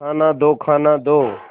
खाना दो खाना दो